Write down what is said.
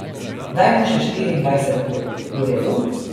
Daj mu še štiriindvajset ur, v redu?